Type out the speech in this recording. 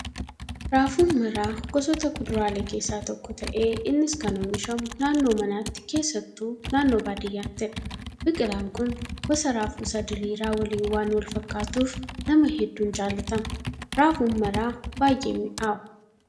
Raafuun maraa gosoota kuduraalee keessaa tokko ta'ee innis kan oomishamu naannoo manaatti keessattuu naannoo baadiyyaattidha. Biqilaan kun gosa raafuu isa diriiraa waliin waan wal fakkaatuuf nama hedduun jaallatama. Raafuun maraa baay'ee mi'aawa.